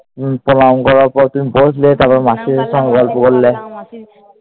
প্রণাম করার পর তুমি বসলে। তারপর মাসির সঙ্গে গল্প করলে